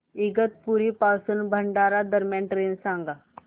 इगतपुरी पासून भंडारा दरम्यान ट्रेन सांगा